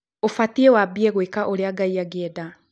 ũbatiĩ wambie gwĩ ka ũrĩa Ngai angĩeda.